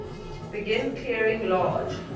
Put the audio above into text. begin clearing large